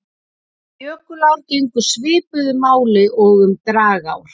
Um jökulár gegnir svipuðu máli og um dragár.